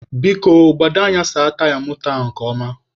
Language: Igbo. Biko, gbado anya saa taya moto a nke ọma.